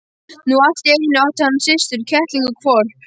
Nú allt í einu átti hann systur, kettling og hvolp.